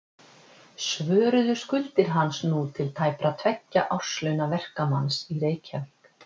Svöruðu skuldir hans nú til tæpra tveggja árslauna verkamanns í Reykjavík.